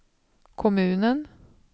kommunen